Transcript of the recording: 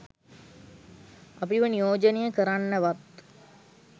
අපිව නියෝජනය කරන්නවත්